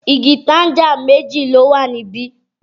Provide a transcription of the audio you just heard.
Igi tanga méjì ló wà ní bí?